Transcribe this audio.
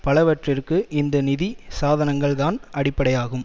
பலவற்றிற்கு இந்த நிதி சாதனங்கள் தான் அடிப்படையாகும்